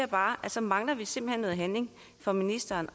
bare at så mangler vi simpelt hen noget handling fra ministerens